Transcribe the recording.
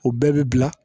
O bɛɛ bi bila